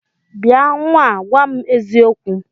Bịa nnwa a, gwa m eziokwu!